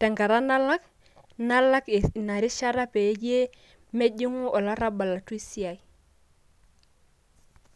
tenkata nalak ,nalak ina rishata peyie mejingu olarabal atua esiai.